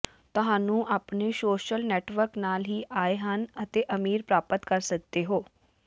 ਤੁਹਾਨੂੰ ਆਪਣੇ social network ਨਾਲ ਹੀ ਆਏ ਹਨ ਅਤੇ ਅਮੀਰ ਪ੍ਰਾਪਤ ਕਰ ਸਕਦੇ ਹੋ